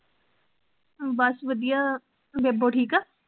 ਬਸ ਵਧਿਆ, ਬੇਬੋ ਠੀਕ ਆ?